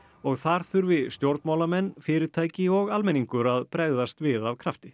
og þar þurfi stjórnmálamenn fyrirtæki og almenningur að bregðast við af krafti